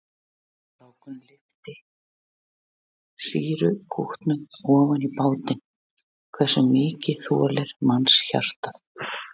Strákurinn lyftir sýrukútnum ofan í bátinn, hversu mikið þolir mannshjartað?